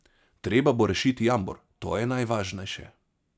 Treba bo rešiti jambor, to je najvažnejše.